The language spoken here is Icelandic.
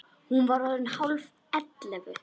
Hún var orðin hálf ellefu.